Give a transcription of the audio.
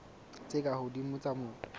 tse ka hodimo tsa mobu